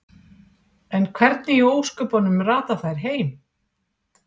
En hvernig í ósköpunum rata þær heim?